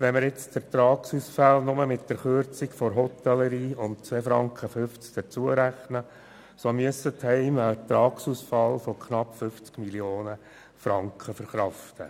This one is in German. Rechnen wir die Ertragsausfälle von 2,5 Franken pro Person und Tag in der Hotellerie dazu, müssen die Heime Ertragsausfälle von 50 Mio. Franken verkraften.